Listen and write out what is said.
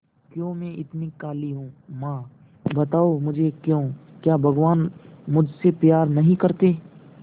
क्यों मैं इतनी काली हूं मां बताओ मुझे क्यों क्या भगवान मुझसे प्यार नहीं करते